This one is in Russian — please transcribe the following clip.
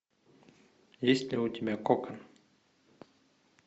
есть ли у тебя кок